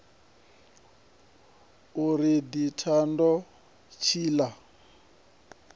ari ḓi thavha zwashu tshiḽa